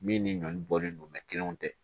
Min ni ɲɔn bɔlen don kelenw tɛ